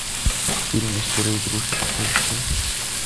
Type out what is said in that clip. фильм история игрушек поищи